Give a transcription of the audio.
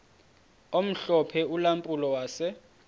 omhlophe ulampulo wase